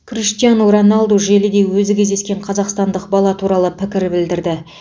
криштиану роналду желіде өзі кездескен қазақстандық бала туралы пікір білдірді